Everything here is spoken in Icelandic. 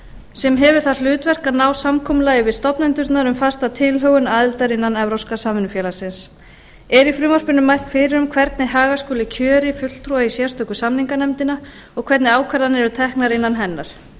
sem hefur það hlutverk að ná samkomulagi við stofnendurna um fasta tilhögun aðildar innan evrópska samvinnufélagsins er í frumvarpinu mælt fyrir um hvernig haga skuli kjöri fulltrúa í sérstöku samninganefndina og hvernig ákvarðanir eru teknar innan hennar